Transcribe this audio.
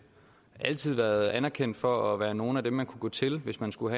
altid været anerkendt for at være nogle af dem man kan gå til hvis man skulle